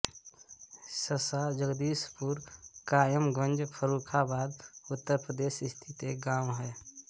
सशा जगदीशपुर कायमगंज फर्रुखाबाद उत्तर प्रदेश स्थित एक गाँव है